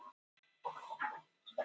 Malla